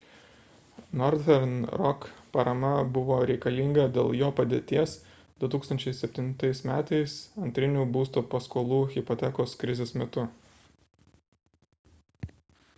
northern rock parama buvo reikalinga dėl jo padėties 2007 m antrinių būsto paskolų hipotekos krizės metu